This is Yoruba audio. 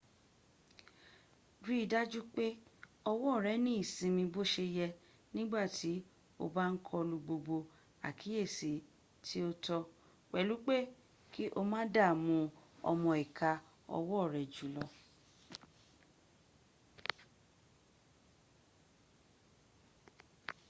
rí i dájú pé ọwọ́ rẹ ní ìsinmi bó se yẹ nígbàtí o bá ń kọlu gbogbo àkíyèsí tí ó tó - pẹ̀lú pé ki o má dààmú ọmọ ìka ọwọ́ rẹ jùlọ